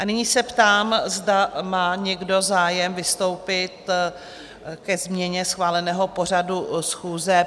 A nyní se ptám, zda má někdo zájem vystoupit ke změně schváleného pořadu schůze?